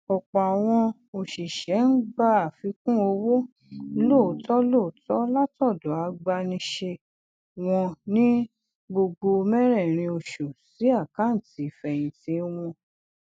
ọpọ àwọn oṣiṣẹ ń gba àfikún owó lọọtọ lọọtọ látọdọ agbanisẹ wọn ní gbogbo mẹrẹẹrin oṣù sí àkántì ìfẹyìntì wọn